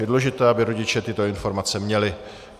Je důležité, aby rodiče tyto informace měly.